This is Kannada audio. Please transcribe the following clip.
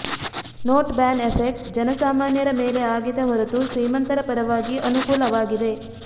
ನೋಟ್ ಬ್ಯಾನ್ ಎಫೆಕ್ಟ್ ಜನಸಾಮಾನ್ಯರ ಮೇಲೆ ಆಗಿದೆ ಹೊರತು ಶ್ರೀಮಂತರ ಪರವಾಗಿ ಅನುಕೂಲವಾಗಿದೆ